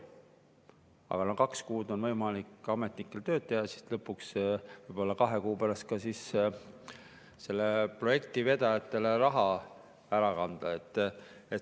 Aga no kaks kuud on võimalik ametnikel tööd teha ja siis lõpuks, võib-olla kahe kuu pärast, saab ka selle projekti vedajatele raha üle kanda.